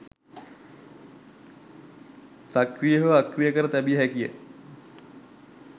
සක්‍රිය හෝ අක්‍රිය කර තැබිය හැකියි.